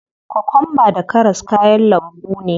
Kokwamba da karas kayan lambu ne.